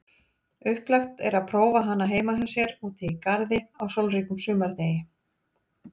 Upplagt er prófa hana heima hjá sér úti í garði á sólríkum sumardegi.